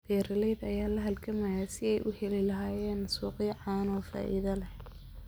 Beeralayda ayaa la halgamaya sidii ay u heli lahaayeen suuqyo caano oo faa'iido leh.